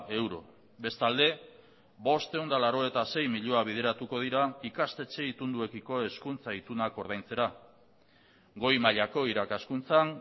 euro bestalde bostehun eta laurogeita sei milioi bideratuko dira ikastetxe itunduekiko hezkuntza itunak ordaintzera goi mailako irakaskuntzan